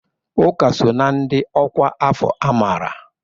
Uka so na ndị ọkwá afọ amara.